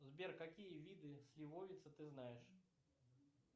сбер какие виды сливовицы ты знаешь